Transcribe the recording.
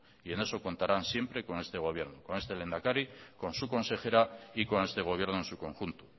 en eso contarán siempre con este gobierno con este lehendakari con su consejera y con este gobierno en su conjunto